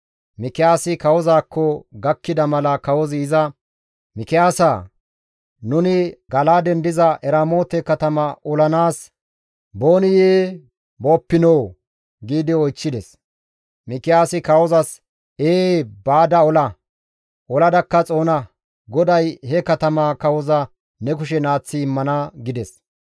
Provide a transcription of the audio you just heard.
Mikiyaasi kawozaakko gakkida mala kawozi iza, «Mikiyaasaa! Nuni Gala7aaden diza Eramoote katama olanaas booniyee booppinoo?» giidi oychchides. Mikiyaasi kawozas, «Ee baada ola; oladakka xoona. GODAY he katamaa kawoza ne kushen aaththi immana» gides.